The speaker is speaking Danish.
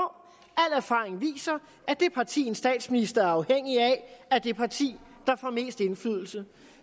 al erfaring viser at det parti en statsminister er afhængig af er det parti der får mest indflydelse